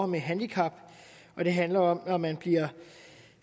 med handicap og det handler om at man når man bliver